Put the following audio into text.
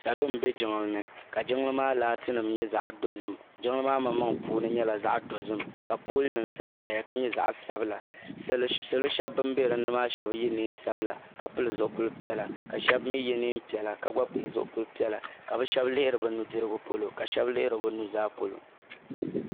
Salo m be jiŋlini ka jiŋli maa laati nima nyɛ zaɣa dozim jiŋli maa manmaŋa puuni nyɛla zaɣa dozim ka pooli nima sansaya ka nyɛ zaɣa dozim salo sheba ban be dinni maa sheba yela niɛn'sabila ka pili zipili piɛla ka ka sheba mee ye niɛn'piɛla ka pili zipilila ka bɛ sheba lihiri bɛ nudirigu polo la sheba lihiri bɛ nuzaa polo.